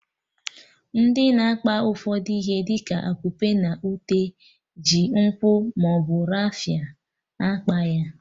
Ndị na-akpa ụfọdụ ihe dị ka akupe na ute ji nkwụ maọbụ rafia akpa ya